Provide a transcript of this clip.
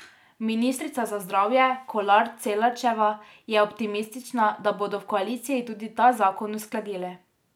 Ministrica za zdravje Kolar Celarčeva je optimistična, da bodo v koaliciji tudi ta zakon uskladili.